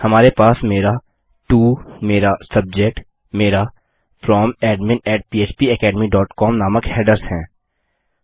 हमारे पास मेरा टो मेरा सब्जेक्ट मेरा Fromadminphpacademycom नामक हेडर्स है